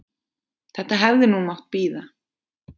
Þetta hefði nú mátt bíða.